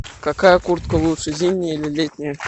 какая куртка лучше зимняя или летняя